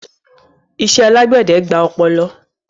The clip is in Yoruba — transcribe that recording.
Ìṣẹ̀ alágbèdẹ̀ gbà òpoló